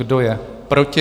Kdo je proti?